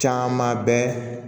Caman bɛ